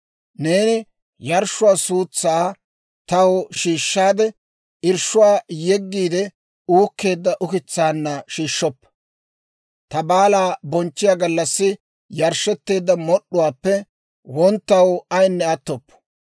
«Neeni yarshshuwaa suutsaa taw shiishshaadde, irshshuwaa yeggiide uukkeedda ukitsaanna shiishshoppa. Ta baalaa bonchchiyaa gallassi yarshshetteedda mod'd'uwaappe wonttaw ayinne attoppo.